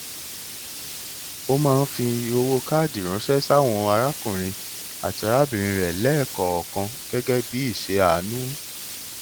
ó máa ń fi owó káàdì ránṣẹ sí àwọn arákùnrin àti arábìnrin rẹ lẹẹkọọkan gẹgẹ bí ìṣe àánú